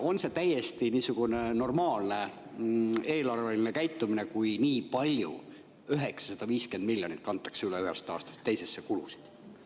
Ja kas see on täiesti normaalne eelarveline käitumine, kui nii palju kulusid – 950 miljonit – kantakse üle ühest aastast teise?